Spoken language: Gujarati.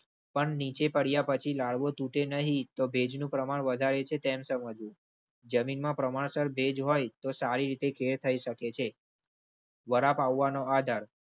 પણ નીચે પડ્યા પછી લાડવો તૂટે નહી તો ભેજનું પ્રમાણ વધારે છે તેમ સમજવું. જમીનમાં પ્રમાણસર ભેજ હોય તો સારી રીતે ખેડ થઈ શકે છે.